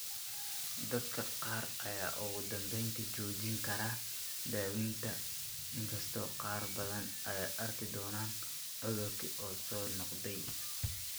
Dadka qaar ayaa ugu dambeyntii joojin kara daaweynta, inkastoo qaar badan ay arki doonaan cudurkii oo soo noqday.